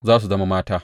Za su zama mata.